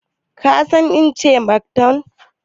Ka san ina ce Karthoum?